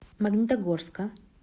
магнитогорска